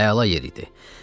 Əla yer idi.